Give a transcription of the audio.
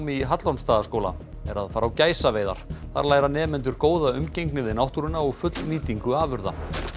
í Hallormsstaðaskóla er að fara á gæsaveiðar þar læra nemendur góða umgengni við náttúruna og fullnýtingu afurða